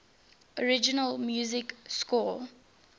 original music score